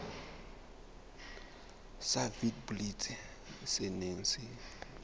sa witblits se neng se